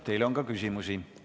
Teile on ka küsimusi.